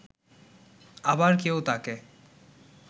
আবার কেউ তাকে